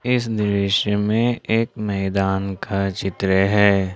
इस दृश्य में एक मैदान का चित्र है।